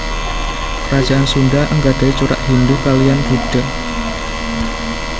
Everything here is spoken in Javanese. Kerajaan Sunda anggadhahi corak Hindhu kaliyan Buddha